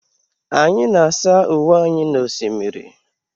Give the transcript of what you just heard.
Anyị na-asa uwe anyị n'osimiri.